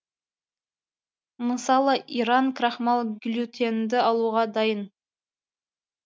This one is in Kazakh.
мысалы иран крахмал глютенді алуға дайын